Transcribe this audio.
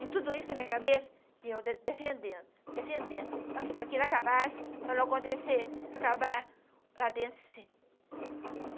E tudo isso na minha cabeça, eu de defendendo, defendendo, para que ele acabasse, para não acontecer, para acabar lá dentro, sim.